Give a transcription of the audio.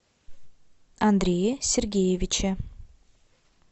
андрее сергеевиче